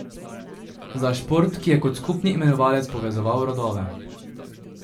Za šport, ki je kot skupni imenovalec povezoval rodove.